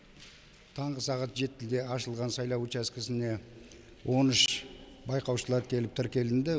таңғы сағат жетіде ашылған сайлау учаскесіне он үш байқаушылар келіп тіркелінді